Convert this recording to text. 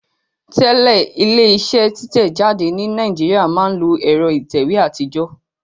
Tẹ́lẹ̀ ilé iṣẹ́ títẹ̀ jáde ní Nàìjíríà máa ń lo ẹ̀rọ ìtẹ̀wé àtijọ́